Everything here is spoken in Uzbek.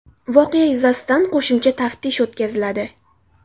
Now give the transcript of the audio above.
Voqea yuzasidan qo‘shimcha taftish o‘tkaziladi.